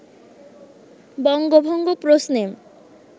বঙ্গভঙ্গ প্রশ্নে